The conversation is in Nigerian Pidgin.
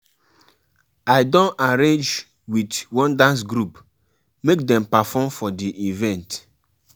um Pipo suppose support each oda goals while respecting traditional values.